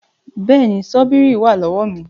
Bẹ́ẹ̀ni, ṣọ́bíìrì wà lọ́wọ́ mi